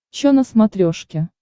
чо на смотрешке